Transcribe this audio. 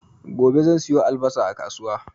Gobe zan siyo albasa a kasuwa